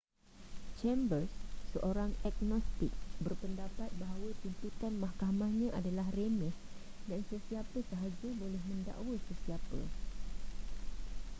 chambers seorang agnostik berpendapat bahawa tuntutan mahkamahnya adalah remeh dan sesiapa sahaja boleh mendakwa sesiapa